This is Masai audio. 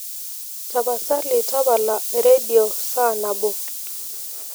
tapasaali tapala eredio saa nabo